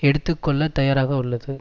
எடுத்து கொள்ள தயாராக உள்ளது